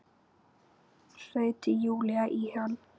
hreytir Júlía í hana.